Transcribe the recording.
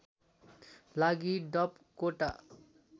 लागि डप कोटा